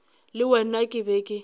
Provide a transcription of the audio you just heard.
le wena ke be ke